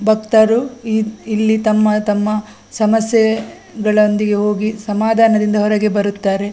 ಭಕ್ತರು ಇ ಇಲ್ಲಿ ತಮ್ಮ ತಮ್ಮ ಸಮಸ್ಯೆಗಳೊಂದಿಗೆ ಹೋಗಿ ಸಮಾಧಾನದಿಂದ ಹೊರಗೆ ಬರುತ್ತಾರೆ .